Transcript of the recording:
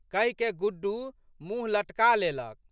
कहिकए गुड्डू मुँह लटका लेलक।